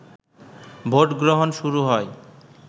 ভোটগ্রহণ শুরু হয়